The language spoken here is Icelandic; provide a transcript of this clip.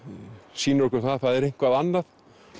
sýnir okkur það að það er eitthvað annað